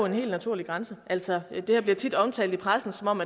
en helt naturlig grænse altså det her bliver tit omtalt i pressen som om